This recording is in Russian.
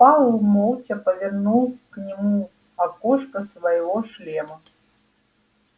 пауэлл молча повернул к нему окошко своего шлема